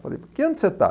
Falei, que ano você está?